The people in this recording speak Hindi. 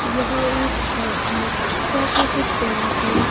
यह एक शॉप है शॉप में कुछ बैनरस है।